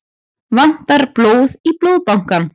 Vantar blóð í Blóðbankann